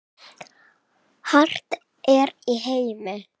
hart er í heimi